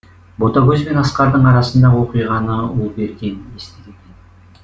ботагөз бен асқардың арасындағы оқиғаны ұлберген естіген